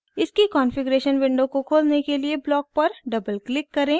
इसकी configuration window को खोलने के लिए ब्लॉक पर डबल क्लिक करें